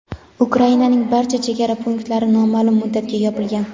Ukrainaning barcha chegara punktlari nomaʼlum muddatga yopilgan.